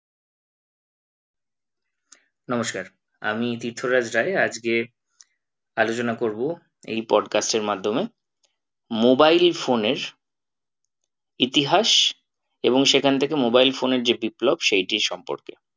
নমস্কার আমি তীর্থরাজ রায় আজকে আলোচনা করবো এই podcast এর মাধ্যমে mobile phone এর ইতিহাস এবং সেখান থেকে mobile phone এর যে বিপ্লব সেইটির সম্পর্কে